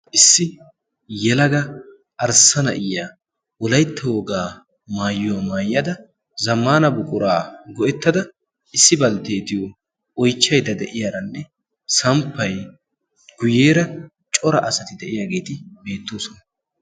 Issi yelaga arssa na'iyiya wolaytta wogaa maayuwaa maayyada zamaana buquraa go'ettada. issi baltteetiyo oychchaida de'iyaaranne samppai guyyeera cora asati de'iyaageeti beettoosona.